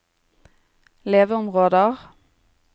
leveområder